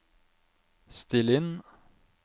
still inn